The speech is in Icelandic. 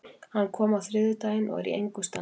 Hann kom á þriðjudaginn og er í engu standi.